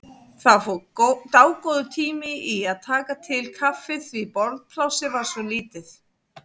Það fór dágóður tími í að taka til kaffið því borðplássið var svo lítið.